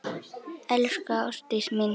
Elsku Ástdís mín.